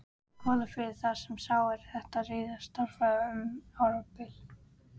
Kollafirði, þar sem sá, er þetta ritar, starfaði um árabil.